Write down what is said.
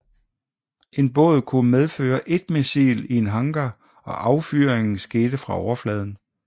En båd kunne medføre ét missil i en hangar og affyringen skete fra overfladen